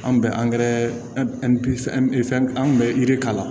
An bɛ an tun bɛ yiri k'a la